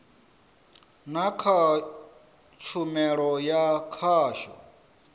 na kha tshumelo ya khasho